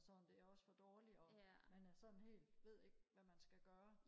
og sådan det er også for dårligt og man er sådan helt ved ikke hvad man skal gøre